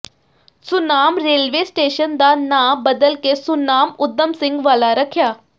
Sunam railway station ਦਾ ਨਾਂ ਬਦਲ ਕੇ ਸੁਨਾਮ ਊਧਮ ਸਿੰਘ ਵਾਲਾ ਰੱਖਿਆ